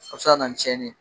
a bi se ka na ni cɛnni ye.